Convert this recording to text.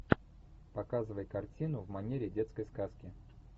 показывай картину в манере детской сказки